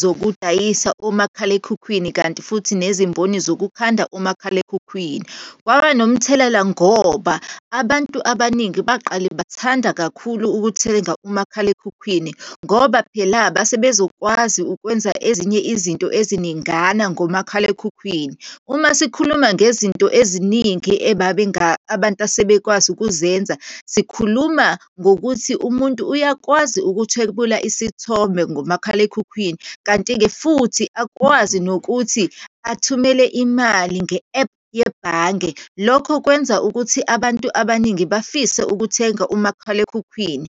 zokudayisa omakhalekhukhwini, kanti futhi nezimboni zokukhanda umakhalekhukhwini. Kwaba nomthelela ngoba abantu abaningi baqale bathanda kakhulu ukuthenga umakhalekhukhwini, ngoba phela base bezokwazi ukwenza ezinye izinto eziningana ngomakhalekhukhwini. Uma sikhuluma ngezinto eziningi abantu asebekwazi ukuzenza, sikhuluma ngokuthi umuntu uyakwazi ukuthwebula isithombe ngomakhalekhukhwini, kanti-ke futhi akwazi nokuthi athumele imali nge-ephu yebhange. Lokho kwenza ukuthi abantu abaningi bafise ukuthenga umakhalekhukhwini.